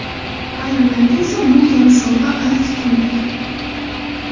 Ayrimlarga esa bu kabi sovg‘a g‘alati tuyulgan.